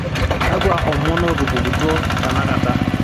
kakua omon ootupukutuo tenakata